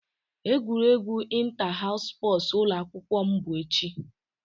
Egwuregwu ịnta haus spọsu ụlọ akwụkwọ m bụ echi